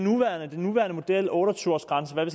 nuværende model otte og tyve års grænsen eller